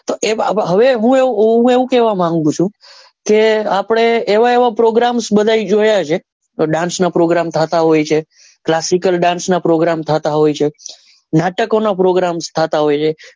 તો હવે હું એવું કેવા માંગું છે કે આપડે એવા એવા programs જોયા છે તો dance ના programs થતા હોય છે classical dance ના programs નાટકો નાં programs થતા હોય છે.